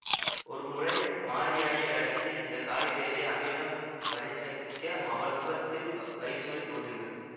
ஒரு முறை மாரியாயி வேடத்தில் வந்த காளி தேவியை அமிர்தம் பரிகசிக்க அவள் முகத்தில் வைசூரி தோன்றுகிறது